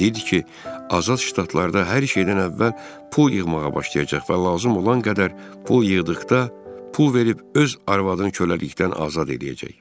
Dedi ki, azad ştatlarda hər şeydən əvvəl pul yığmağa başlayacaq və lazım olan qədər pul yığdıqda pul verib öz arvadını köləlikdən azad eləyəcək.